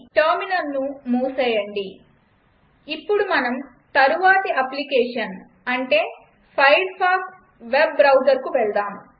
టెర్మినల్ను మూసేయండి ఇప్పుడు మనం తరువాతి అప్లికేషన్ అంటే ఫైర్ఫాక్స్ వెబ్ బ్రౌజర్కు వెళ్దాం